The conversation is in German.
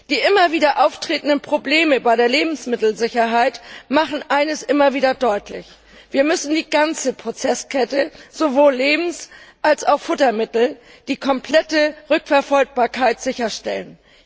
Die immer wieder auftretenden Probleme bei der Lebensmittelsicherheit machen eines immer wieder deutlich Wir müssen für die ganze Prozesskette, sowohl Lebens als auch Futtermittel, die komplette Rückverfolgbarkeit sicherstellen.